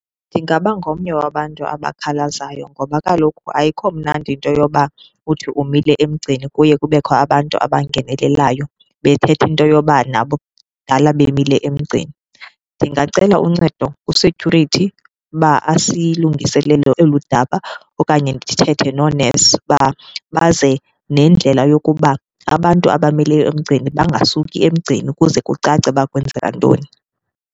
Ndingaba ngomnye wabantu abakhalazayo ngoba kaloku ayikho mnandi into yoba uthi umile emgceni kuye kubekho abantu abangenelelayo bethetha into yoba nabo kudala bemile emgceni. Ndingacela uncedo ku-security uba asilungiselele eli daba okanye ndithethe noonesi uba baze nendlela yokuba abantu abamele emgceni bangasuki emgceni ukuze kucace uba kwenzeka ntoni.